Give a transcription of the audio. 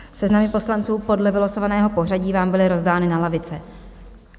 Seznamy poslanců podle vylosovaného pořadí vám byly rozdány na lavice.